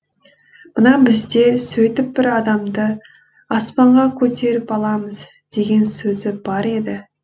мына біздер сөйтіп бір адамды аспанға көтеріп аламыз деген сөзі бар еді